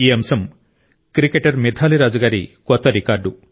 ఈ అంశం క్రికెటర్ మిథాలీ రాజ్ గారి కొత్త రికార్డు